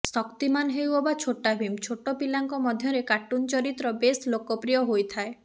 ଶକ୍ତିମାନ ହେଉ ଅବା ଛୋଟା ଭୀମ ଛୋଟ ପିଲାଙ୍କ ମଧ୍ୟରେ କାର୍ଟୁନ ଚରିତ୍ର ବେଶ ଲୋକପ୍ରୀୟ ହୋଇଥାଏ